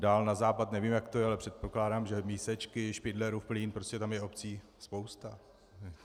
Dál na západ nevím, jak to je, ale předpokládám, že Mísečky, Špindlerům Mlýn - prostě tam je obcí spousta.